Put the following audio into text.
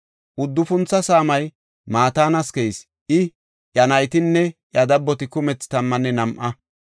Uddufuntho saamay Matanas keyis; I, iya naytinne iya dabboti kumethi tammanne nam7a.